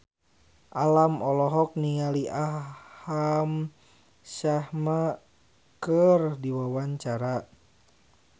Alam olohok ningali Aham Sharma keur diwawancara